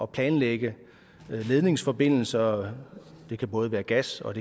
planlægge ledningsforbindelser det kan både være gas og